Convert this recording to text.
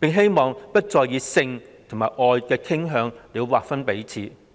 並希望不再以性與愛的傾向來劃分彼此"。